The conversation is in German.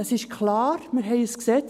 Es ist klar, wir haben ein Gesetz.